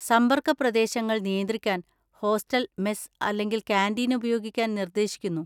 സമ്പർക്ക പ്രദേശങ്ങൾ നിയന്ത്രിക്കാൻ ഹോസ്റ്റൽ മെസ് അല്ലെങ്കിൽ കാന്‍റീൻ ഉപയോഗിക്കാൻ നിർദ്ദേശിക്കുന്നു.